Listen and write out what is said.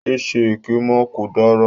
Ye ṣe èké mọ́, kò dára.